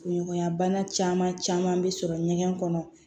Ɲɔgɔnɲanbana caman caman bɛ sɔrɔ ɲɛgɛn kɔnɔ